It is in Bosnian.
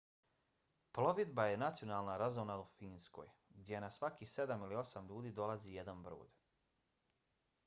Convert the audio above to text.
plovidba je nacionalna razonoda u finskoj gdje na svakih sedam ili osam ljudi dolazi jedan brod